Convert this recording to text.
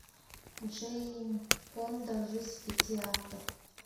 джейн фонда жизнь в пяти актах